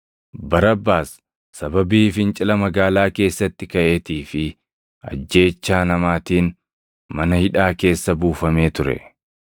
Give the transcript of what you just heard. Barabbaas sababii fincila magaalaa keessatti kaʼeetii fi ajjeechaa namaatiin mana hidhaa keessa buufamee ture.